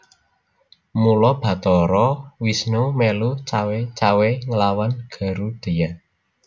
Mula Bathara Wisnu mèlu cawé cawé nglawan Garudheya